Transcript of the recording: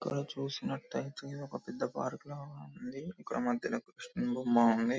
అక్కడ చూసినట్ అయితే ఒక పెద్ద పార్క్ లాగ ఉంది అక్కడ మద్యల .